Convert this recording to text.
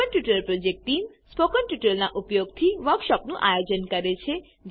spoken tutorial project team spoken ટ્યુટોરીયલોનાં ઉપયોગથી વર્કશોપોનું આયોજન કરે છે